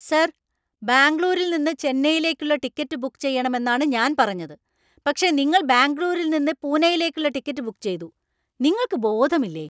Sir! ബാംഗ്ലൂരിൽ നിന്ന് ചെന്നൈയിലേക്കുള്ള ടിക്കറ്റ് ബുക്ക് ചെയ്യണമെന്നാണ് ഞാൻ പറഞ്ഞത്, പക്ഷെ നിങ്ങൾ ബാംഗ്ലൂരിൽ നിന്ന് പൂനെയിലേക്കുള്ള ടിക്കറ്റ് ബുക്ക് ചെയ്തു. നിങ്ങൾക്ക് ബോധമില്ലേ?